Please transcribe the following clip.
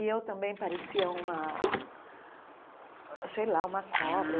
E eu também parecia uma sei lá uma cobra.